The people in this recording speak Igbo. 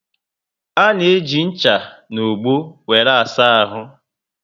Ana eji ncha na ogbo wéré asa ahụ